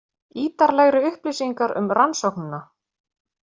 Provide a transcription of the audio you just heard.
Ítarlegri upplýsingar um rannsóknina